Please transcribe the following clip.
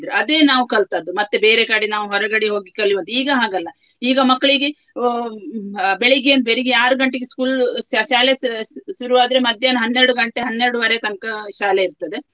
ಅದೇ ನಾವು ಕಲ್ತದ್ದು ಮತ್ತೆ ಬೇರೆ ಕಡೆ ನಾವು ಹೊರಗಡೆ ಹೋಗಿ ಕಲಿಯುವಂತ ಈಗ ಹಾಗಲ್ಲ ಈಗ ಮಕ್ಳಿಗೆ ಅಹ್ ಬೆಳಿಗ್ಗೆ ಬೆಳಿಗ್ಗೆ ಆರು ಗಂಟೆಗೆ school ಶಾ~ ಶಾಲೆಸ ಶು~ ಶುರುವಾದ್ರೆ ಮಧ್ಯಾಹ್ನ ಹನ್ನೆರಡು ಗಂಟೆ ಹನ್ನೆರಡುವರೆ ತನ್ಕ ಶಾಲೆ ಇರ್ತದೆ.